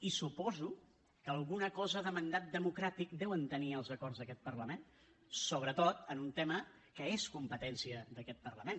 i suposo que alguna cosa de mandat democràtic deuen tenir els acords d’aquest parlament sobretot en un tema que és competència d’aquest parlament